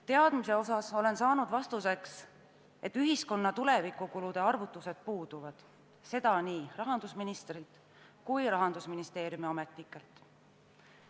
Teadmiste osas olen saanud vastuseks, et ühiskonna tulevikukulude arvutused puuduvad – seda on öelnud nii rahandusminister kui ka Rahandusministeeriumi ametnikud.